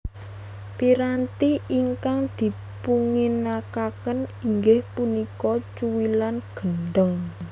Piranti ingkang dipunginakaken inggih punika cuwilan gendhèng